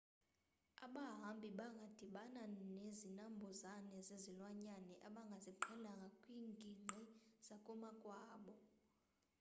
abahamabi bangadibana nezinambuzane zezilwanyane abangaziqhelanga kwiingingqi zakomakwabo